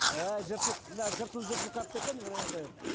әәә жыртылып мынау жыртылып жыртылып қапты екен міне енді